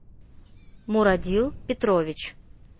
мурадил петрович